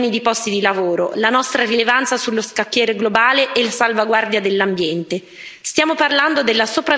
In gioco non ci sono solo milioni di posti di lavoro, la nostra rilevanza sullo scacchiere globale e la salvaguardia dell'ambiente.